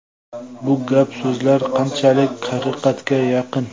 Bu gap-so‘zlar qanchalik haqiqatga yaqin?”.